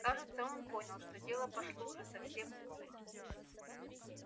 кажется он понял что дело пошло уже совсем плохо